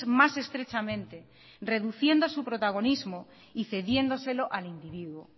más estrechamente reduciendo su protagonismo y cediéndoselo al individuo